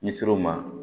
N'i sir'o ma